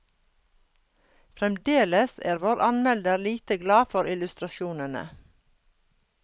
Fremdeles er vår anmelder lite glad for illustrasjonene.